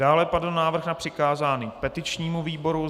Dále padl návrh na přikázání petičnímu výboru.